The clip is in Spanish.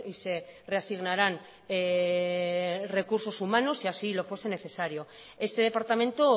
se reasignarán recursos humanos si así lo fuese necesario este departamento